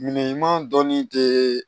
Minɛn ɲuman dɔnni tɛ